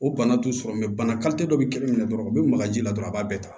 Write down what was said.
O bana t'u sɔrɔ bana dɔ bɛ kelen minɛ dɔrɔn u bɛ maka ji la dɔrɔn a b'a bɛɛ ta